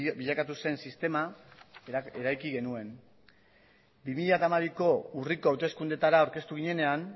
bilakatu zen sistema eraiki genuen bi mila hamabiko urriko hauteskundetara aurkeztu ginenean